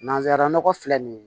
Nanzara nɔgɔ filɛ nin ye